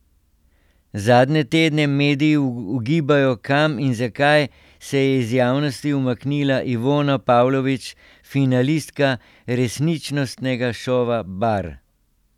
Zadnje tedne mediji ugibajo, kam in zakaj se je iz javnosti umaknila Ivona Pavlović, finalistka resničnostnega šova Bar.